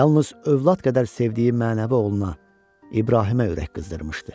Yalnız övlad qədər sevdiyi mənəvi oğluna, İbrahimə ürək qızdırmışdı.